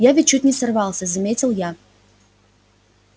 я ведь чуть не сорвался заметил я